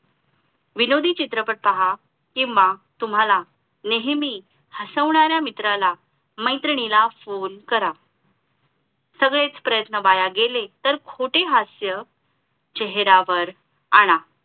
विनोदी चित्रपट पहा किंवा तुम्हाला नेहमी हसवणाऱ्या मित्राला मैत्रिणीला फोन करा सगळेच सगळेच प्रयत्न वाया गेले तर खोटे हास्य चेहऱ्यावर आणा